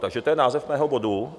Takže to je název mého bodu.